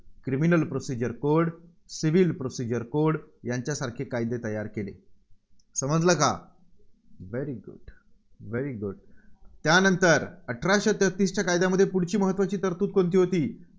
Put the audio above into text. Criminal Procedure CodeCivil Procedure Code यांच्यासारखे कायदे तयार केले. समजलं का? very good very good त्यानंतर अठराशे तेहतीसच्या कायद्यामध्ये पुढची महत्त्वाची तरतुद कोणती होती?